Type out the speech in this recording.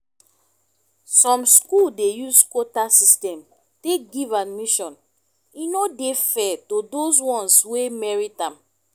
some school dey use quota system take give admission e no dey fair to those ones wey merit am